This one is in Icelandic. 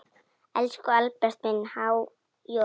Elsku Albert minn, há joð.